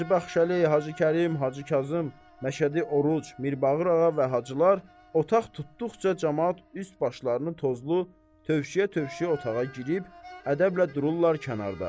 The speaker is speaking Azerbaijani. Hacı Baxşəli, Hacı Kərim, Hacı Kazım, Məşədi Oruc, Mirbağır ağa və Hacılar otaq tutduqca camaat üst başlarını tozlu tövşüyə-tövşüyə otağa girib ədəblə dururlar kənarda.